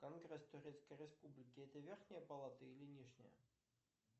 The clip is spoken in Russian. конгресс турецкой республики это верхняя палата или нижняя